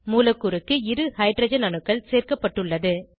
மூலக்கூறுக்கு இரு ஹைட்ரஜன் அணுக்கள் சேர்க்கப்பட்டுள்ளது